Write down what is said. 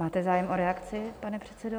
Máte zájem o reakci, pane předsedo?